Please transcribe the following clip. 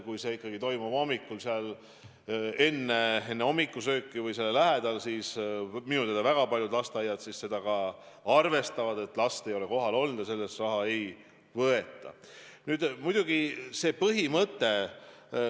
Kui see ikkagi toimub juba enne hommikusööki, siis minu teada väga paljud lasteaiad arvestavad, et last ei ole kohal olnud, ja selle päeva eest toiduraha ei võeta.